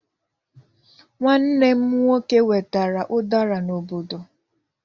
Nwanne m nwoke wetere udara n'obodo.